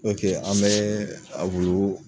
oke an bɛɛ a wulu